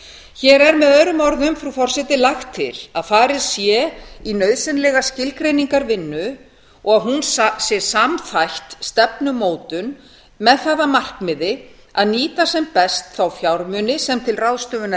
hér er með öðrum orðum frú forseti lagt til að farið sé í nauðsynlega skilgreiningarvinnu og hún sé samþætt stefnumótun með það að markmiði að nýta sem best þá fjármuni sem til ráðstöfunar